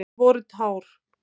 Það voru tár.